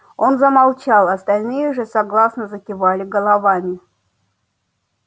он замолчал остальные же согласно закивали головами